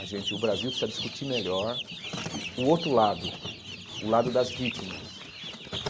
a gente e o Brasil precisa discutir melhor o outro lado, o lado das vítimas.